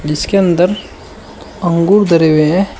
इसके अंदर अंगूर धरे हुए हैं।